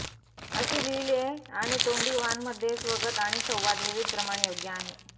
असे लिहिले आणि तोंडी वाण मध्ये स्वगत आणि संवाद विविध प्रमाण योग्य आहे